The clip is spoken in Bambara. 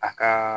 A ka